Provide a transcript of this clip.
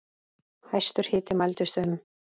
Hæstur hiti mældist um